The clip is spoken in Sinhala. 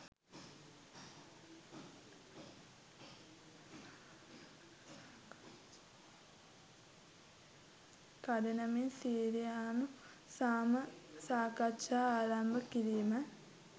කඩිනමින් සිරියානු සාම සාකච්ඡා ආරම්භ කිරීම